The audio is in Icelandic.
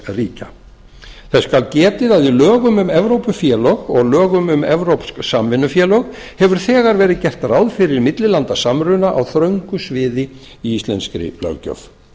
ríkja þess skal getið að í lögum um evrópufélög og lögum um evrópsk samvinnufélög hefur þegar verið gert ráð fyrir millilandasamruna á þröngu sviði í íslenskri löggjöf